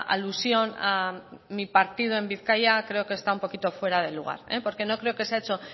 alusión a mi partido en bizkaia creo que está un poquito fuera de lugar porque no creo que se ha hecho